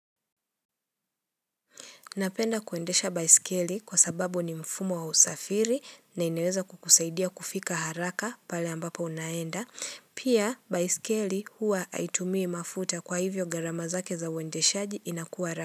Napenda kuendesha baiskeli kwa sababu ni mfumo wa usafiri na inaweza kukusaidia kufika haraka pale ambapo unaenda. Pia baiskeli huwa aitumii mafuta kwa hivyo gharama zake za uendeshaji inakuwa ra.